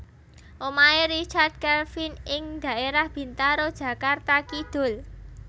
Omahe Richard Kevin ing dhaerah Bintaro Jakarta Kidul